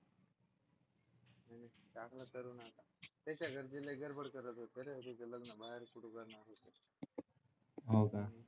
तिच्या घरचे लय गडबड करत होते रे तिचं लग्न बाहेर कुठे करणार होते हो का